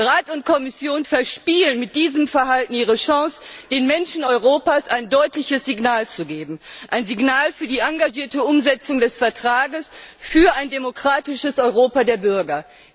Rat und Kommission verspielen mit diesem Verhalten ihre Chance, den Menschen Europas ein deutliches Signal zu geben, ein Signal für die engagierte Umsetzung des Vertrages, für ein demokratisches Europa der Bürger.